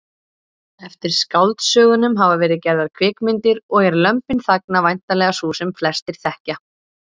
Eftir skáldsögunum hafa verið gerðar kvikmyndir og er Lömbin þagna væntanlega sú sem flestir þekkja.